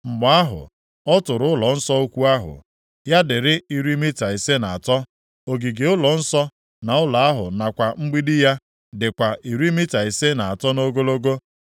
Mgbe ahụ, ọ tụrụ ụlọnsọ ukwu ahụ, ya dịrị iri mita ise na atọ, ogige ụlọnsọ, na ụlọ ahụ nakwa mgbidi ya, dịkwa iri mita ise na atọ nʼogologo.